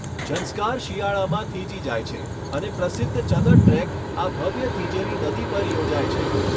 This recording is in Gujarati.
ઝંસ્કાર શિયાળામાં થીજી જાય છે અને પ્રસિદ્ધ ચદર ટ્રેક આ ભવ્ય થીજેલી નદી પર યોજાય છે.